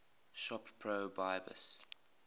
shop pro bypass